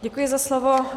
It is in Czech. Děkuji za slovo.